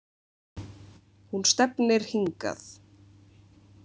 Hún stefnir hingað